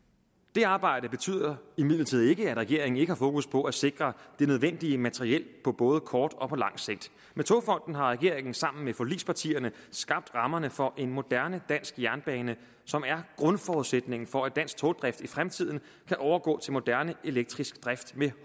det arbejde betyder imidlertid ikke at regeringen ikke har fokus på at sikre det nødvendige materiel på både kort og lang sigt med togfonden dk har regeringen sammen med forligspartierne skabt rammerne for en moderne dansk jernbane som er grundforudsætningen for at dansk togdrift i fremtiden kan overgå til moderne elektrisk drift med